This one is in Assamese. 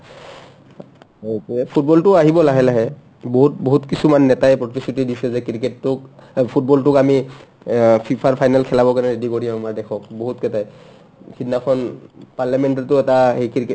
সেইটোয়ে football lটো আহিব লাহে লাহে বহুত বহুত কিছুমান নেতাই প্ৰতিশ্ৰুতি দিছে যে cricket টোক অ football টোক আমি অ FIFA ৰ final খেলাবৰ কাৰণে ready কৰি আহো মই দেশক বহুতকেইটাই সিদনাখন parliament তটো এটা এই cricket